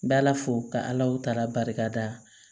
Bɛ ala fo ka ala barika da